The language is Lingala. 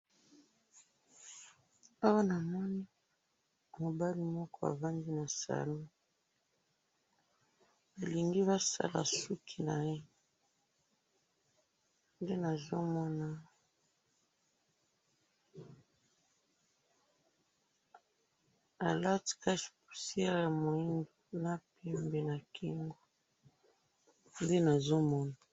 awa namoni mobali moko avandi na salon elengi basala suki naye nde nazomona aleti cashe poussiere muhindo na kingo nde nazomona